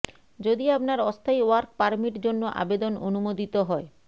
যদি আপনার অস্থায়ী ওয়ার্ক পারমিট জন্য আবেদন অনুমোদিত হয়